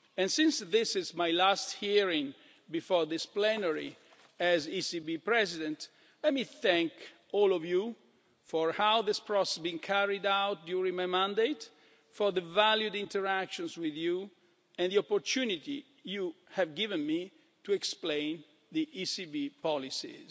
Since this is my last hearing before this plenary as ECB President, let me thank all of you for how this process has been carried out during my mandate, for the valued interactions with you, and the opportunity you have given me to explain the ECB's policies.